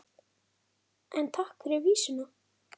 En takk fyrir vísuna!